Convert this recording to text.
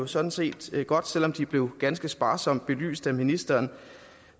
sådan set godt selv om de blev ganske sparsomt belyst af ministeren